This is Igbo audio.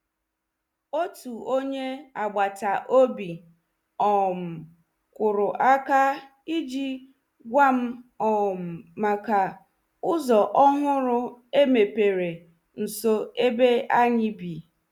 Otu onye agbata obi um kụrụ aka iji gwa m um maka ụzọ ọhụrụ e mepere nso ebe anyị bi.